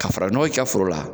Ka faranɔgɔ k'i ka foro la